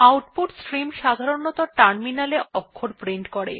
output stream সাধারনতঃ টার্মিনালে অক্ষর প্রিন্ট করে